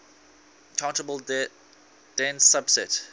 countable dense subset